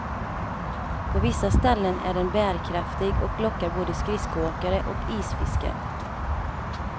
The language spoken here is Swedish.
På vissa ställen är den bärkraftig och lockar både skridskoåkare och isfiskare.